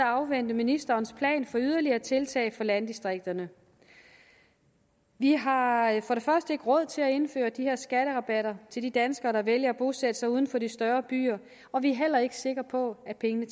afvente ministerens plan for yderligere tiltag for landdistrikterne vi har for det første ikke råd til at indføre de her skatterabatter til de danskere der vælger at bosætte sig uden for de større byer og vi er heller ikke sikre på at pengene